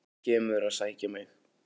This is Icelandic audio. Þú kemur að sækja mig.